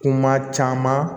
Kuma caman